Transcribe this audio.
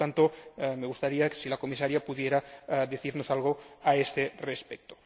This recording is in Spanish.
Por lo tanto, me gustaría que la Comisaria pudiera decirnos algo a este respecto.